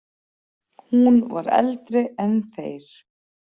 Hún var eldri en þeir.